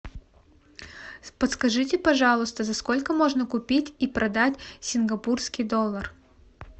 подскажите пожалуйста за сколько можно купить и продать сингапурский доллар